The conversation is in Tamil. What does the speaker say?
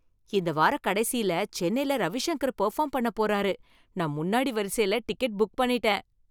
இந்த வாரக்கடைசில சென்னைல ரவிஷங்கர் பெர்ஃபார்ம் பண்ண போறாரு. நான் முன்னாடி வரிசைல டிக்கெட் புக் பண்ணிட்டேன்.